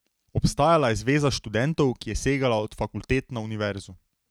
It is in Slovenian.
Obstajala je Zveza študentov, ki je segala od fakultet na univerzo.